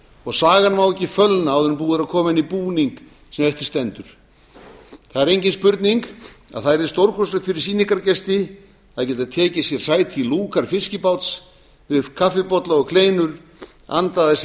og sagan má ekki fölna áður en búið er að koma henni í búning sem eftir stendur það er engin spurning að það yrði stórkostlegt fyrir sýningargesti að geta tekið sér sæti í lúkar fiskibáts með kaffibolla og kleinur andað að sér